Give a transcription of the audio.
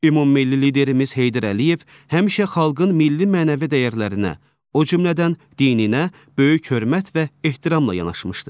Ümummilli liderimiz Heydər Əliyev həmişə xalqın milli-mənəvi dəyərlərinə, o cümlədən dininə böyük hörmət və ehtiramla yanaşmışdır.